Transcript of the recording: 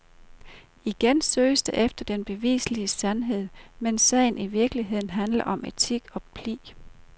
Igen søges der efter den bevislige sandhed, mens sagen i virkeligheden handler om etik og pli.